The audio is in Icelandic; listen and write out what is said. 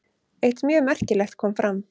Eitt mjög merkilegt kom fram.